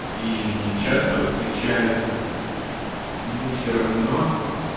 и не часто встречается к нему все равно